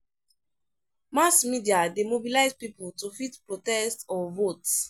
Mass media de mobilize pipo to fit protest or vote